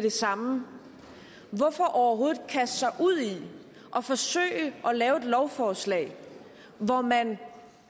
det samme hvorfor overhovedet kaste sig ud i at forsøge at lave et lovforslag hvor man